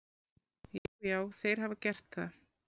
Já, já, þeir hafa gert það.